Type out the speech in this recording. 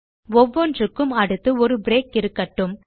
ஒவ்வொன்றுக்கும் அடுத்து ஒரு பிரேக் இருக்கட்டும்